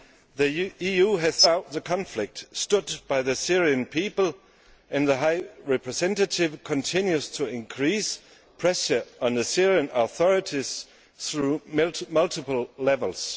The EU has throughout the conflict stood by the Syrian people and the High Representative continues to increase pressure on the Syrian authorities through multiple levels.